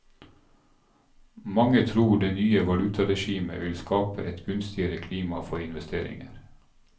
Mange tror det nye valutaregimet vil skape et gunstigere klima for investeringer.